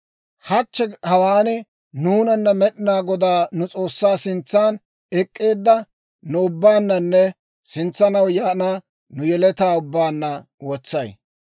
hachche hawaan nuunana Med'inaa Godaa nu S'oossaa sintsan ek'k'eedda nu ubbaananne sintsanaw yaana nu yeletaa ubbaanna wotsay.